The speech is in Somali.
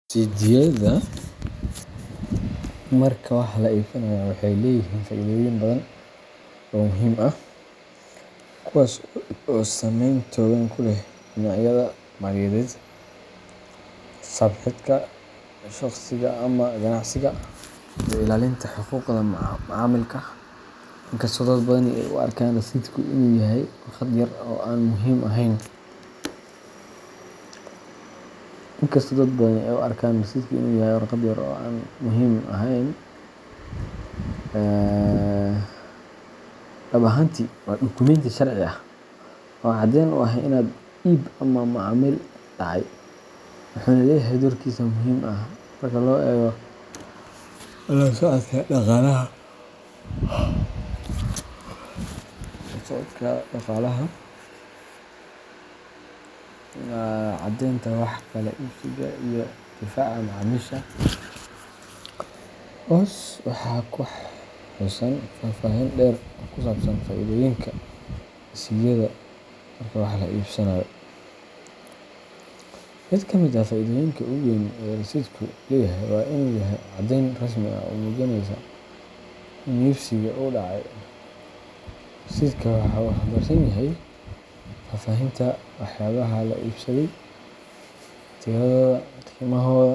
Rasiidhyada marka wax la iibsanayo waxay leeyihiin faa’iidooyin badan oo muhiim ah, kuwaas oo saameyn togan ku leh dhinacyada maaliyadeed, xisaab xidhka shaqsiga ama ganacsiga, iyo ilaalinta xuquuqda macaamilka. Inkastoo dad badani ay u arkaan rasiidhku inuu yahay warqad yar oo aan muhiim ahayn, dhab ahaantii waa dukumenti sharci ah oo caddeyn u ah in iib ama macaamil dhacay, wuxuuna leeyahay doorkiisa muhiimka ah marka loo eego la socodka dhaqaalaha, caddaynta wax kala iibsiga, iyo difaaca macaamiisha. Hoos waxaa ku xusan faahfaahin dheer oo ku saabsan faa’iidooyinka rasiidhyada marka wax la iibsanayo:Mid ka mid ah faa’iidooyinka ugu weyn ee rasiidhku leeyahay waa inuu yahay caddayn rasmi ah oo muujinaysa in iibsiga uu dhacay. Rasiidhka wuxuu xambaarsan yahay faahfaahinta waxyaabaha la iibsaday, tiradooda, qiimahooda.